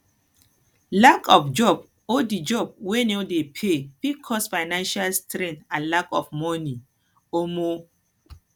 lack of job or di job wey dey no dey pay fit cause finanial strain and lack of money um